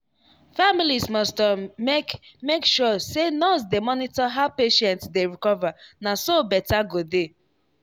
families must um make make sure say nurse dey monitor how patient dey recover na so better go dey.